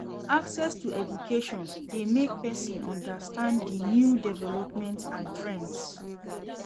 Access to education de make persin understand di new development and trends